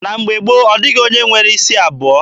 Na mgbe gboo, ọ dịghị onye nwere isi abụọ.